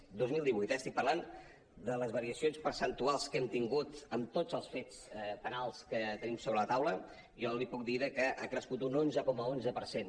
dos mil divuit eh estic parlant de les variacions percentuals que hem tingut amb tots els fets penals que tenim sobre la taula jo li puc dir que ha crescut un onze coma onze per cent